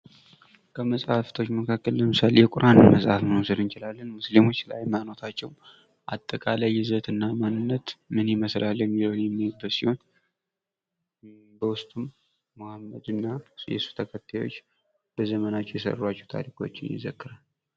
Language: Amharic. ከመፅሀፍቶች መካከል የቁራን መፅሀፍን መውሰድ እንችላለን ።ቁርአን ሙስሊሞች ስለ ሀይማኖታቸው አጠቃላይ ይዘትና ማንነት ምን ይመስላል የሚለውን የሚወክል ሲሆን የእስልምና ተከታዮች በዘመናቸው የሰሯቸውን ስራዎች የሚዘግቡ ናቸው።